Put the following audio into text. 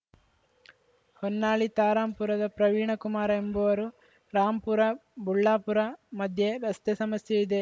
ಹೊನ್ನಾಳಿ ತಾ ರಾಂಪುರದ ಪ್ರವೀಣಕುಮಾರ ಎಂಬುವರು ರಾಂಪುರ ಬುಳ್ಳಾಪುರ ಮಧ್ಯೆ ರಸ್ತೆ ಸಮಸ್ಯೆ ಇದೆ